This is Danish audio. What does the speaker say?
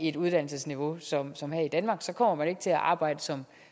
et uddannelsesniveau som som her i danmark for så kommer man ikke til at arbejde som